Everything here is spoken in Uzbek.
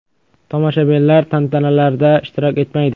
Tomoshabinlar tantanalarda ishtirok etmaydi.